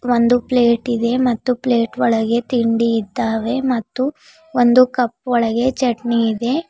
ಒಂದು ಪ್ಲೇಟ್ ಇದೆ ಮತ್ತು ಪ್ಲೇಟ್ ಒಳಗೆ ತಿಂಡಿ ಇದ್ದಾವೆ ಮತ್ತು ಒಂದು ಕಪ್ ಒಳಗೆ ಚಟ್ನಿ ಇದೆ.